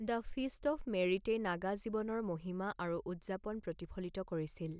The feast of মেৰিটে নাগা জীৱনৰ মহিমা আৰু উদযাপন প্ৰতিফলিত কৰিছিল।